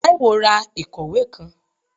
Taiwo rá ikọwe kán